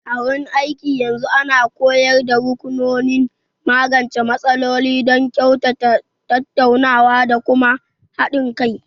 A wurin aiki, yanzu ana koyar da rukunonin magance matsaloli don su kyautata tattaunawa da kuma haɗin kai.